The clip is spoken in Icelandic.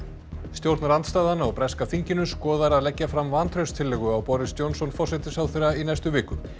stjórnarandstaðan á breska þinginu skoðar að leggja fram vantrauststillögu á Boris Johnson forsætisráðherra í næstu viku